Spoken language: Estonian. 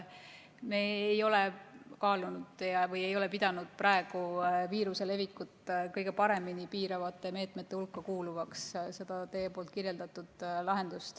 Me ei ole seda teie kirjeldatud lahendust kaalunud ja ei ole pidanud seda praegu viiruse levikut kõige paremini piiravate meetmete hulka kuuluvaks.